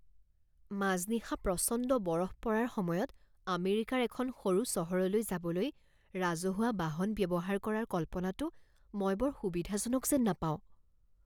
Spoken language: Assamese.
মাজনিশা প্ৰচণ্ড বৰফ পৰাৰ সময়ত আমেৰিকাৰ এখন সৰু চহৰলৈ যাবলৈ ৰাজহুৱা বাহন ব্যৱহাৰ কৰাৰ কল্পনাটো মই বৰ সুবিধাজনক যেন নাপাওঁ।